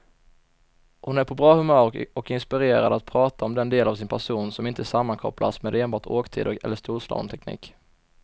Hon är på bra humör och inspirerad att prata om den del av sin person, som inte sammankopplas med enbart åktider eller storslalomteknik.